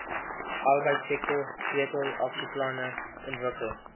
arbeidsektor sleutelaksieplanne ontwikkel